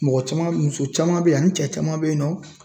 Mɔgɔ caman muso caman be yen nɔ ani cɛ caman be yen nɔ